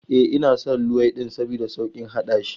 E, ina son luwaiɗin saboda sauƙin haɗashi.